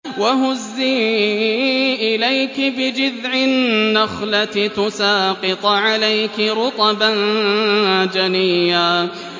وَهُزِّي إِلَيْكِ بِجِذْعِ النَّخْلَةِ تُسَاقِطْ عَلَيْكِ رُطَبًا جَنِيًّا